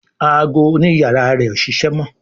Àgọ òní iyàrá rẹ o ṣẹṣẹ mọ.